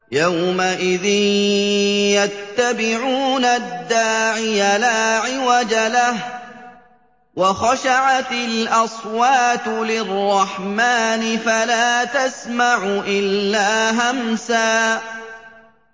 يَوْمَئِذٍ يَتَّبِعُونَ الدَّاعِيَ لَا عِوَجَ لَهُ ۖ وَخَشَعَتِ الْأَصْوَاتُ لِلرَّحْمَٰنِ فَلَا تَسْمَعُ إِلَّا هَمْسًا